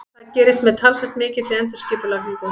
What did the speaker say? Það gerist með talsvert mikilli endurskipulagningu.